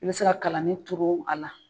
I bɛ se kalanin turu a la.